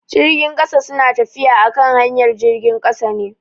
Jirgin kasa su na tafiya akan hanyar jirgin kasa ne.